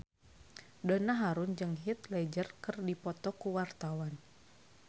Donna Harun jeung Heath Ledger keur dipoto ku wartawan